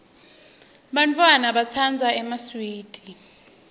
bantfwana batsandza emaswidi